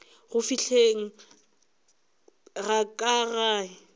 go fihleng ga ka gae